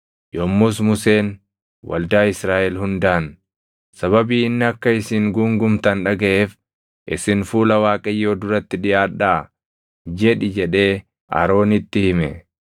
Yommus Museen, “Waldaa Israaʼel hundaan, ‘Sababii inni akka isin guungumtan dhagaʼeef isin fuula Waaqayyoo duratti dhiʼaadhaa’ jedhi” jedhee Aroonitti hime.